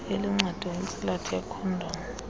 iluncedo intsilathi yekhondomu